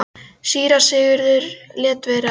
Síra Sigurður lét vera að spyrja.